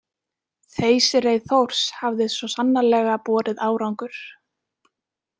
Þeysireið Þórs hafði svo sannarlega borið árangur.